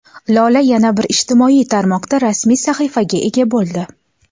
Lola yana bir ijtimoiy tarmoqda rasmiy sahifaga ega bo‘ldi.